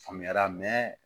Faamuyara